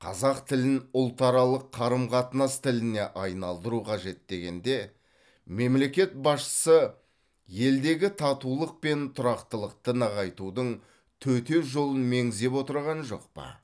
қазақ тілін ұлтаралық қарым қатынас тіліне айналдыру қажет дегенде мемлекет басшысы елдегі татулық пен тұрақтылықты нығайтудың төте жолын меңзеп отырған жоқ па